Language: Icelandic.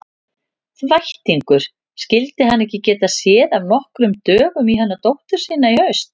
Þvættingur, skyldi hann ekki geta séð af nokkrum dögum í hana dóttur sína í haust.